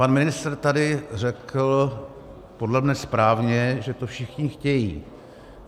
Pan ministr tady řekl, podle mě správně, že to všichni chtějí.